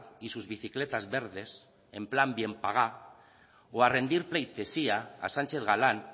y sus bicicletas verdes en plan bien pagá o a rendir pleitesía a sánchez galán